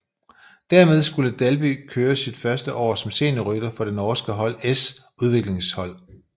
Dermed skulle Dalby kører sit første år som seniorrytter for det norske hold s udviklingshold